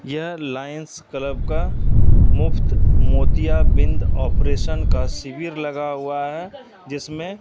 यह Lions Club का मुफ्त मोतियाबिंद ऑपरेशन का शिविर लगा हुआ है जिसमें--